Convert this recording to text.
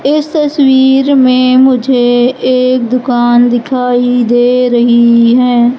इस तस्वीर में मुझे एक दुकान दिखाई दे रही है।